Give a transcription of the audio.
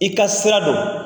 I ka sira don.